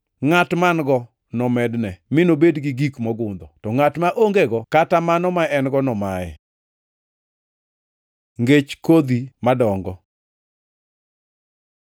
Ngʼat man-go nomedne mi nobed gi gik mogundho; to ngʼat ma ongego kata mano ma en-go nomaye.” Ngech kodhi madongo